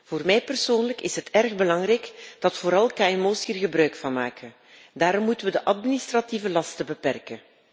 Voor mij persoonlijk is het erg belangrijk dat vooral kmo's hier gebruik van maken. Daarom moeten we de administratieve lasten beperken.